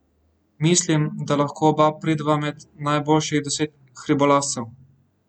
Mislim, da lahko oba prideva med najboljših deset hribolazcev.